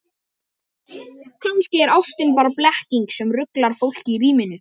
Kannski er ástin bara blekking sem ruglar fólk í ríminu.